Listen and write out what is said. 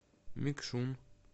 мекшун